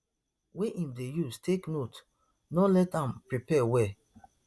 wey im dey use take note no let am prepare well